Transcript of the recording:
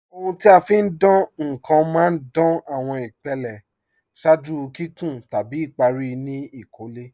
Ọ̀huń ti a fi ń dáǹ nkan má ń dáǹ awọn ìpèlẹ̀ ṣáàjú kíkún tabi ìparí ni ìkólẹ̀.